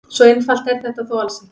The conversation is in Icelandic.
Svo einfalt er þetta þó alls ekki.